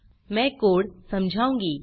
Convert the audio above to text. मैं कोड़ समझाऊँगी